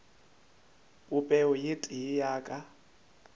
popego ye tee ya ka